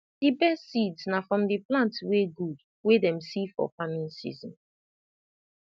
the best seeds na from the plant wey good wey dem see for farming season